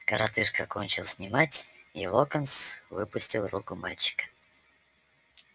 коротышка кончил снимать и локонс выпустил руку мальчика